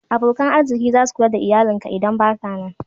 abokan arziki zasu Kula da iyalin ka in baka nan